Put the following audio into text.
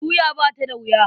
Tuya ba ta da wuya.